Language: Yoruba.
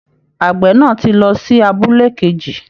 Àgbẹ̀ náà ti lọ sí abúlé kejì